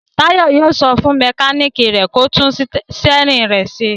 Táyọ̀ yóò sọ fún mẹkáníkì rẹ̀ kó tún sítẹ́rínì rẹ̀ ṣe.